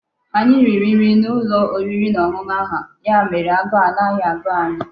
Anyi riri nri n'ulo oriri na onunu ahu, ya mere aguu anaghi agu anyi